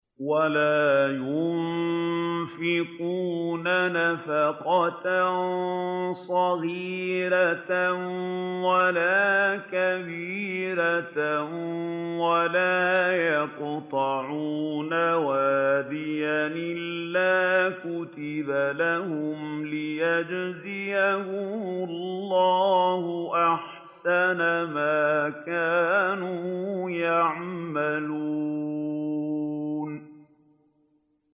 وَلَا يُنفِقُونَ نَفَقَةً صَغِيرَةً وَلَا كَبِيرَةً وَلَا يَقْطَعُونَ وَادِيًا إِلَّا كُتِبَ لَهُمْ لِيَجْزِيَهُمُ اللَّهُ أَحْسَنَ مَا كَانُوا يَعْمَلُونَ